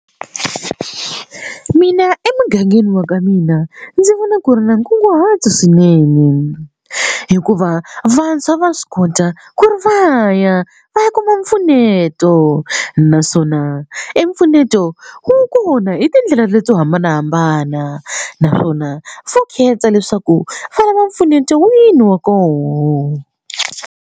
Mina emugangeni wa ka mina ndzi vona ku ri na nkunguhato swinene hikuva vantshwa va swi kota ku ri va ya va ya kuma mpfuneto naswona i mpfuneto wa kona hi tindlela leto hambanahambana naswona va khetha leswaku va lava empfuneto wini wa koho.